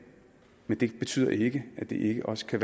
men det betyder ikke at de ikke også kan